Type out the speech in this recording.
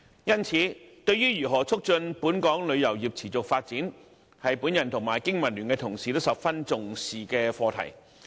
因此，對於如何促進本港旅遊業持續發展，我和香港經濟民生聯盟的同事均十分重視。